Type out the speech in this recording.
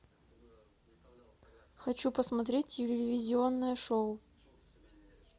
хочу посмотреть телевизионное шоу